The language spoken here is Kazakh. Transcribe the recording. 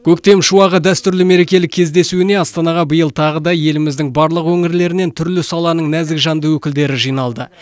көктем шуағы дәстүрлі мерекелік кездесуіне астанаға биыл тағы да еліміздің барлық өңірлерінен түрлі саланың нәзік жанды өкілдері жиналды